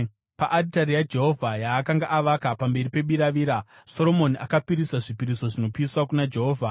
Paaritari yaJehovha yaakanga avaka pamberi pebiravira, Soromoni akapisira zvipiriso zvinopiswa kuna Jehovha,